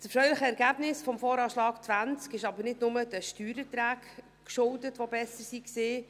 Das erfreuliche Ergebnis des VA 2020 ist jedoch nicht nur den Steuererträgen geschuldet, die besser waren.